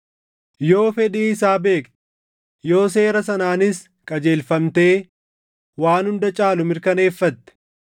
yoo fedhii isaa beekte, yoo seera sanaanis qajeelfamtee waan hunda caalu mirkaneeffatte,